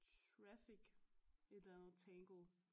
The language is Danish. Traffic et eller andet tangle